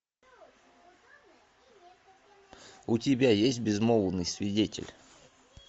у тебя есть безмолвный свидетель